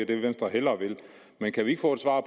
det venstre hellere vil men kan vi ikke få svar